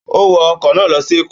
Ó wọ ọkọ̀ náà lọ sí Èkó.